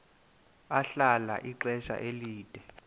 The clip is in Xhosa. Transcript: ahlala ixesha elide